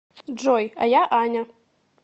джой а я аня